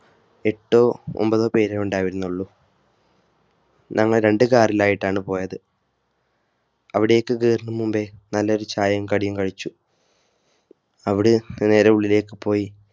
എട്ടോ ഒമ്പതോ പേരെ ഉണ്ടായിരുന്നുള്ളൂ. ഞങ്ങൾ രണ്ടു കാറിലായിട്ടാണ് പോയത്. അവിടേക്ക് കേറും മുമ്പേ നല്ലൊരു ചായയും കടിയും കഴിച്ചു. അവിടെ നിന്ന് നേരെ ഉള്ളിലേക്ക് പോയി